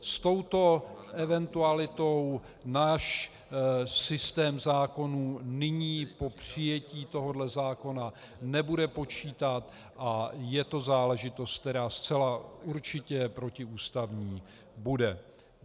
S touto eventualitou náš systém zákonů nyní po přijetí tohoto zákona nebude počítat a je to záležitost, která zcela určitě protiústavní bude.